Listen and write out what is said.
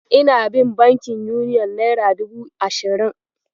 Ina bin bankin Uniyon naira dubu ashirin.